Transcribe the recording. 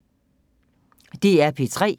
DR P3